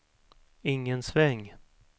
ingen sväng